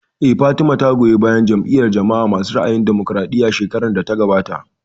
Eh, Fatima ta goyi bayan Jam'iyar jama'a masu ra'ayin damokaraɗiya shekarar da ta gabata